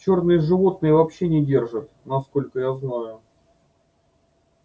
чёрные животные вообще не держат насколько я знаю